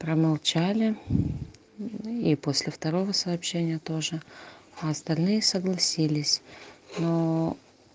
промолчали и после второго сообщения тоже а остальные согласились но